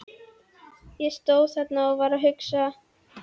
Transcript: Ég stóð þarna og var að hugsa.